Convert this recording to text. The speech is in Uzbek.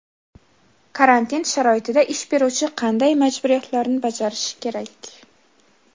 Karantin sharoitida ish beruvchi qanday majburiyatlarni bajarishi kerak?